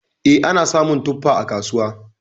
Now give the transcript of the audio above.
E, ana samun tuffa a kasuwa.